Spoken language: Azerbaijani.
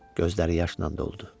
Gözləri yaşla doldu.